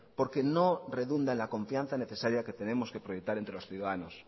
porque no redunda en la confianza necesaria que tenemos que proyectar entre los ciudadanos